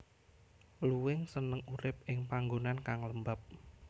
Luwing seneng urip ing panggonan kang lembab